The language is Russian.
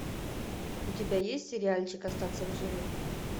у тебя есть сериальчик остаться в живых